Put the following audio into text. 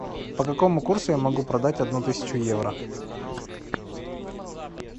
по какому курсу я могу продать одну тысячу евро